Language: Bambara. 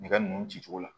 Nɛgɛ nunnu cicogo la